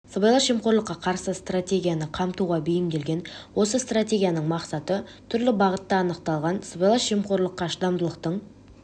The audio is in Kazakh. сыбайлас жемқорлыққа қарсы стратегияны қамтуға бейімделген осы стратегияның мақсаты түрлі бағытта анықталған сыбайлас жемқорлыққа шыдамдылықтың